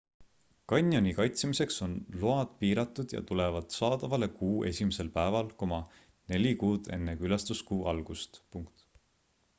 kanjoni kaitsemiseks on load piiratud ja tulevad saadavale kuu esimesel päeval neli kuud enne külastuskuu algust